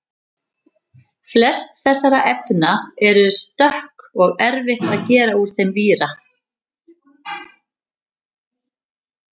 flest þessara efna eru stökk og erfitt að gera úr þeim víra